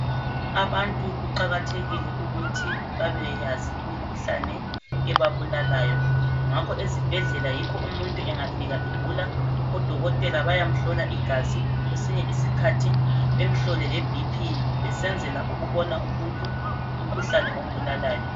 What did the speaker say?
Abantu kuqakathekile ukuthi babeyazi imikhuhlane ebabulalayo ngakho ezibhedlela yikho umuntu engafika egula odokotela bayamhlola igazi kwesinye isikhathi bemhlole le bp besenzela ukubona umuntu umkhuhlane ombulalayo